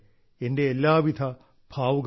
എന്റെ എല്ലാ വിധ ഭാവുകങ്ങളും